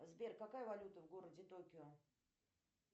сбер какая валюта в городе токио